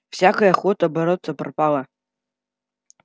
всякая охота бороться пропала